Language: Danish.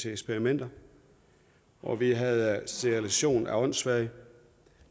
i eksperimenter og vi havde sterilisation af åndssvage